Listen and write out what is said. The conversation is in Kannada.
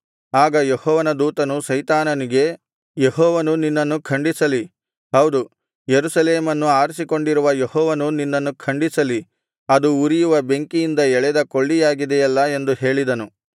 ಆಗ ಯೆಹೋವನ ದೂತನು ಸೈತಾನನಿಗೆ ಯೆಹೋವನು ನಿನ್ನನ್ನು ಖಂಡಿಸಲಿ ಹೌದು ಯೆರೂಸಲೇಮನ್ನು ಆರಿಸಿಕೊಂಡಿರುವ ಯೆಹೋವನು ನಿನ್ನನ್ನು ಖಂಡಿಸಲಿ ಅದು ಉರಿಯುವ ಬೆಂಕಿಯಿಂದ ಎಳೆದ ಕೊಳ್ಳಿಯಾಗಿದೆಯಲ್ಲಾ ಎಂದು ಹೇಳಿದನು